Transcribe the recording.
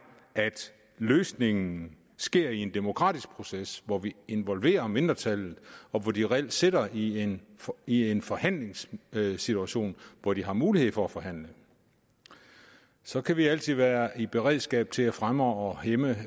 at løsningen sker i en demokratisk proces hvor vi involverer mindretallet og hvor de reelt sidder i en i en forhandlingssituation hvor de har mulighed for at forhandle så kan vi altid være i beredskab til at fremme og hæmme